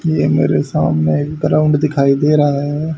ये मेरे सामने एक ग्राउंड दिखाई दे रहा है।